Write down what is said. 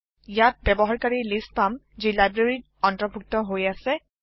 ইয়াত ব্যবহাৰকাৰীৰ লিষ্ট পাম যি লাইব্ৰেৰীত অন্তাৰ্ভূক্ট হৈ অাছে